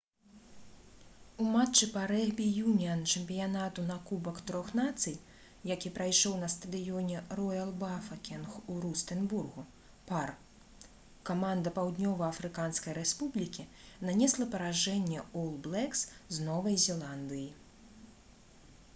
у матчы па рэгбі-юніан чэмпіянату на кубак трох нацый які прайшоў на стадыёне «роял бафакенг» у рустэнбургу пар каманда паўднёва-афрыканскай рэспублікі нанесла паражэнне «ол блэкс» з новай зеландыі